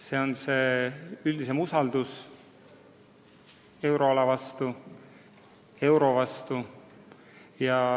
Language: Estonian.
Selle taga on üldine usaldus euroala vastu, euro vastu.